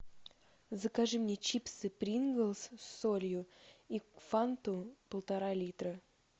закажи мне чипсы принглс с солью и фанту полтора литра